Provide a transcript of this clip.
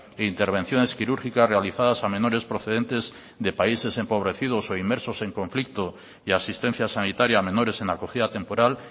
e intervenciones quirúrgicas realizadas a menores procedentes de países empobrecidos o inmersos en conflictos y asistencia sanitaria a menores en acogida temporal